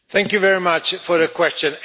Thank you very much for your question.